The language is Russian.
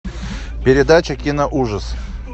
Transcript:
передача киноужас